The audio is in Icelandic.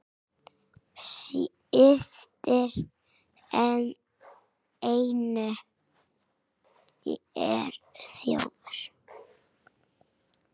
Systir Jennu er þjófur.